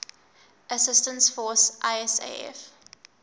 assistance force isaf